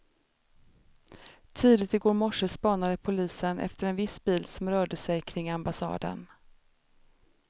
Tidigt i går morse spanade polisen efter en viss bil som rörde sig kring ambassaden.